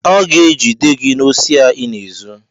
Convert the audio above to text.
Aga egide gị n'osi a ịna-ezu!